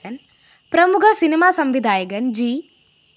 പ്രമുഖ സിനിമാ സംവിധായകന്‍ ജി